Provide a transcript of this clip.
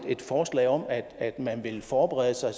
forslag om at man vil forberede sig